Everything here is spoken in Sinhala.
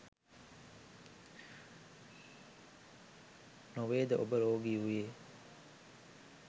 නොවේද ඔබ රෝගී වුයේ?